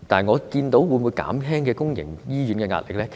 會否減輕公營醫療的壓力呢？